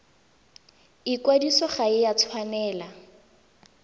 ikwadiso ga e a tshwanela